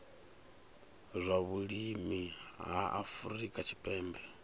zwa vhulimi ha afrika tshipembe